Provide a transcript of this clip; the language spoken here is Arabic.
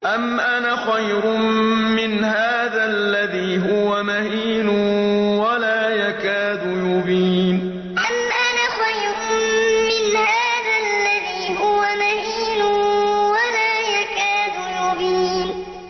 أَمْ أَنَا خَيْرٌ مِّنْ هَٰذَا الَّذِي هُوَ مَهِينٌ وَلَا يَكَادُ يُبِينُ أَمْ أَنَا خَيْرٌ مِّنْ هَٰذَا الَّذِي هُوَ مَهِينٌ وَلَا يَكَادُ يُبِينُ